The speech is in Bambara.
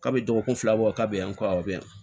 K'a bɛ dɔgɔkun fila bɔ k'a bɛ yan ko aw bɛ yan